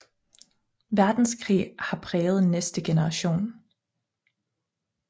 Verdenskrig også har præget næste generation